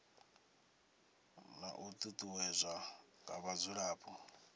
na u ṱuṱuwedzwa nga vhadzulapo